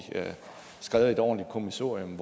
skrevet et ordentligt kommissorium